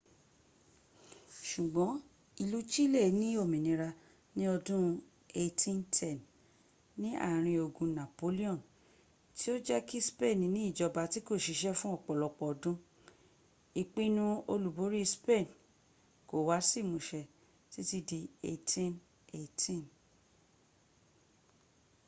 ṣùgbọ́n ìlú chile ní òmínira ní ọdún 1810 ní àárín ogun napoleon tí ó jẹ́ kí spain ní ìjọba tí kò ṣiṣẹ́ fún ọ̀pọ̀lọpọ̀ ọdún} ìpinnu olúborí spain kò wá sí ìmúṣẹ títí di 1818